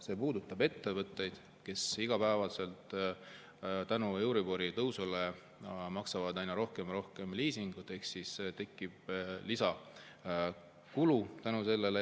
See puudutab ettevõtteid, kes iga päev euribori tõusu tõttu maksavad aina rohkem ja rohkem liisingut ja kellel tekib selle tõttu lisakulu.